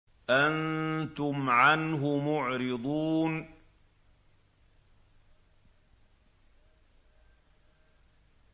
أَنتُمْ عَنْهُ مُعْرِضُونَ